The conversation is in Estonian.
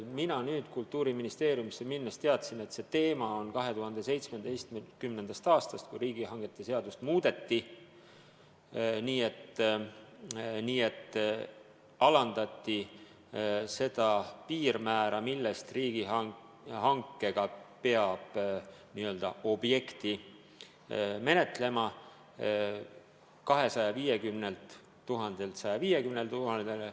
Kui ma Kultuuriministeeriumisse läksin, siis ma teadsin, et see teema on üleval 2017. aastast, kui riigihangete seadust muudeti nii, et alandati seda piirmäära, millest alates peab just riigihankega n-ö objekti menetlema, 250 000-lt 150 000-le.